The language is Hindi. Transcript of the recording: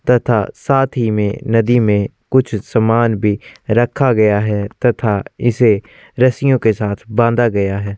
तथा साथ ही में नदी में कुछ सामान भी रखा गया है तथा इसे रस्सियों के साथ बांधा गया है ।